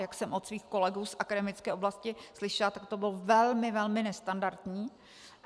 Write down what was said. Jak jsem od svých kolegů z akademické oblasti slyšela, tak to bylo velmi, velmi nestandardní.